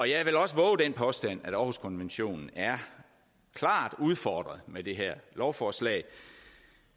jeg vil også vove den påstand at århuskonventionen er klart udfordret med det her lovforslag